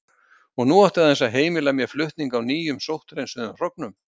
Og nú átti aðeins að heimila mér flutning á nýjum sótthreinsuðum hrognum.